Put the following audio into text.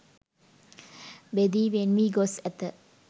බෙදී වෙන් වී ගොස් ඇත.